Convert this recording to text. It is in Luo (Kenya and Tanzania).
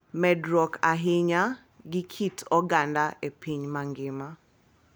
Medruok ahinya gi kit oganda e piny mangima